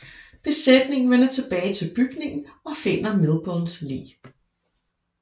Besætningen vender tilbage til bygningen og finder Milburns lig